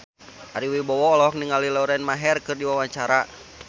Ari Wibowo olohok ningali Lauren Maher keur diwawancara